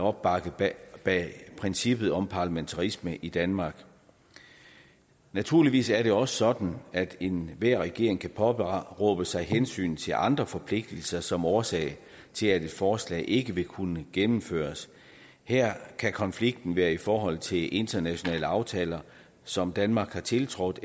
opbakning bag princippet om parlamentarisme i danmark naturligvis er det sådan at enhver regering kan påberåbe sig hensyn til andre forpligtelser som årsag til at et forslag ikke vil kunne gennemføres her kan konflikten være i forhold til internationale aftaler som danmark har tiltrådt